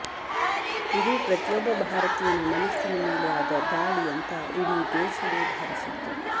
ಇದು ಪ್ರತಿಯೊಬ್ಬ ಭಾರತೀಯನ ಮನಸ್ಸಿನ ಮೇಲೆ ಆದ ದಾಳಿ ಅಂತ ಇಡೀ ದೇಶವೇ ಭಾವಿಸಿತ್ತು